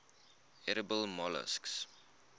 edible molluscs